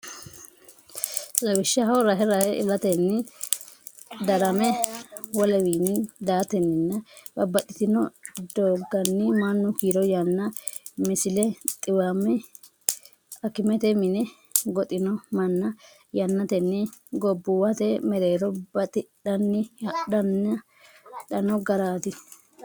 Lawishshaho rahe rahe ilatenni darame wolewiinni daatenninna babbaxxitino doogganni mannu kiiro yanna Misile Xiwame akimete mine goxino manna yannatenni gobbuwate mereero batidhanni hadhanno garaati.